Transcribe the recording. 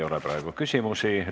Rohkem praegu küsimusi ei ole.